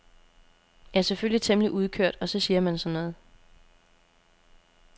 Jeg er selvfølgelig temmelig udkørt og så siger man sådan noget.